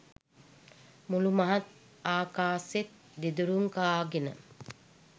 මුළුමහත් ආකාසෙත් දෙදුරුම් කාගෙන